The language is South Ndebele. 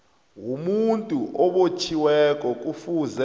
womuntu obotjhiweko kufuze